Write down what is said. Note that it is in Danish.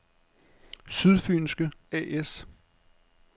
Sydfynske A/S